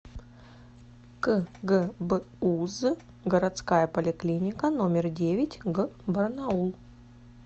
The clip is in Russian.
кгбуз городская поликлиника номер девять г барнаул